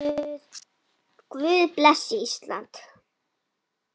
Guð blessi Ísland.